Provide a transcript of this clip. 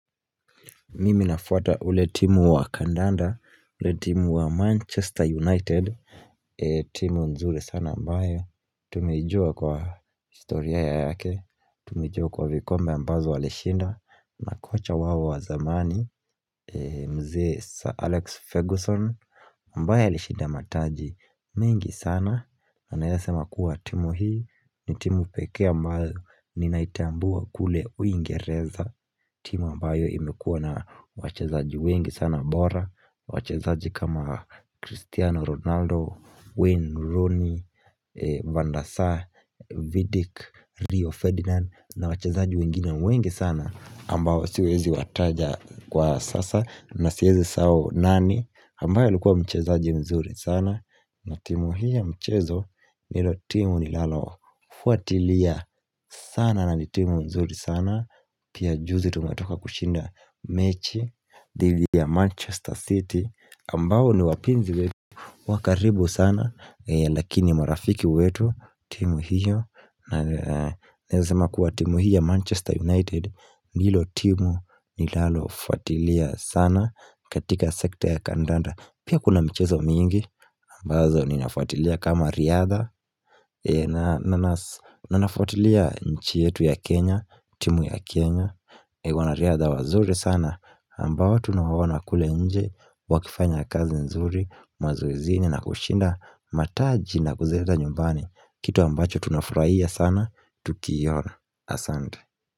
Mimi nafwata ile timu wa kandanda, ile timu wa Manchester United, timu nzuri sana ambayo Tumejua kwa historia ya yake, tumejua kwa vikombe ambazo walishinda na kocha wao wa zamani, mzee Sir Alex Ferguson ambaye alishinda mataji mingi sana, anayesema kuwa timu hii ni timu pekee ambayo, ninaitambua kule uingereza timu ambayo imekuwa na wachezaji wengi sana bora wachezaji kama Cristiano Ronaldo, Wayne, Rooney, Vandasa, Vidic, Rio Ferdinand na wachezaji wengine wengi sana ambao siwezi wataja kwa sasa Nasiezi sahau nani ambayo alikuwa mchezaji mzuri sana na timu hii ya mchezo nilo timu nilalofuatilia sana na timu nzuri sana Pia juzi tunatoka kushinda mechi Divi ya Manchester City ambao ni wapinzi wa karibu sana Lakini marafiki wetu timu hiyo na naeza sema kuwa timu hii ya Manchester United Nilo timu nilalofuatilia sana katika sekta ya kandanda Pia kuna mchezo mingi ambazo ninafuatilia kama riadha Nanafuatilia nchi yetu ya Kenya timu ya Kenya wanariadha wazuri sana ambao tunawaona kule nje wakifanya kazi nzuri Mazoezini na kushinda mataji na kuzeta nyumbani Kitu ambacho tunafurahia sana Tukiona Asante.